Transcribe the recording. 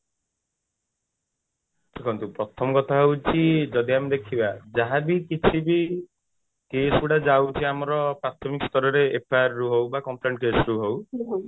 ଦେଖନ୍ତୁ ପ୍ରଥମ କଥା ହଉଛି ଯଦି ଆମେ ଦେଖିବା ଯାହା ବି କିଛି ବି case ଗୁଡା ଯାଉଛି ଆମର ପ୍ରାଥମିକ ସ୍ତରରେ FIR ରୁ ହଉ ବା complain case ରୁ ହଉ